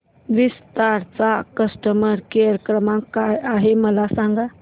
विस्तार चा customer care क्रमांक काय आहे मला सांगा